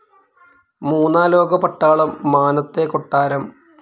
മൂന്നാലോക പട്ടാളം, മാനത്തെ കൊട്ടാരം